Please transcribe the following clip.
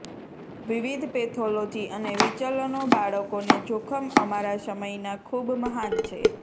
વિવિધ પેથોલોજી અને વિચલનો બાળકોને જોખમ અમારા સમયના ખૂબ મહાન છે